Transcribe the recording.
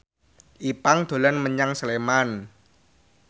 Ipank dolan menyang Sleman